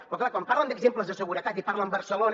però clar quan parlen d’exemples de seguretat i parlen barcelona